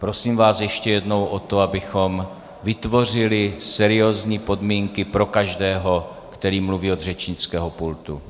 Prosím vás ještě jednou o to, abychom vytvořili seriózní podmínky pro každého, který mluví od řečnického pultu.